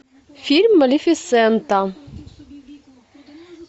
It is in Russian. фильм малефисента